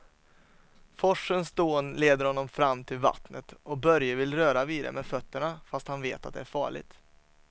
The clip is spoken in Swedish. Forsens dån leder honom fram till vattnet och Börje vill röra vid det med fötterna, fast han vet att det är farligt.